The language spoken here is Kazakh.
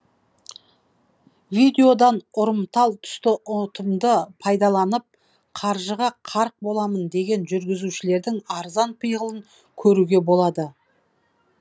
видеодан ұрымтал тұсты ұтымды пайдаланып қаржыға қарық боламын деген жүргізушілердің арзан пиғылын көруге болады